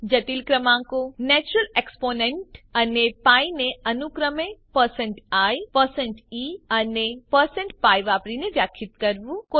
જટિલ ક્રમાંકો natural exponent અને π ને અનુક્રમે i e અને pi વાપરીને વ્યાખ્યિત કરવું